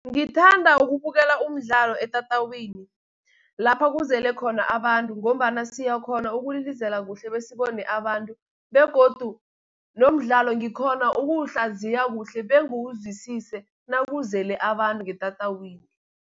Ngithanda ukubukela umdlalo etatawini, lapha kuzele khona abantu, ngombana siyakhona ukulilizela kuhle, bese sibone abantu begodu nomdlalo ngikhona ukuwuhlaziya kuhle bengiwuzwisise nakuzele abantu ngetatawini.